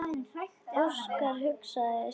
Óskar hugsaði sig um.